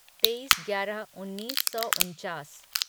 तेईस ग्यारह उन्नीस सौ उनचास